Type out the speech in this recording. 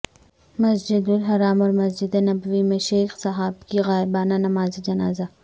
مسجد الحرام اور مسجد نبوی میں شیخ صباح کی غائبانہ نماز جنازہ